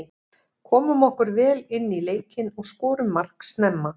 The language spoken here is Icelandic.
Komum okkur vel inní leikinn og skorum mark snemma.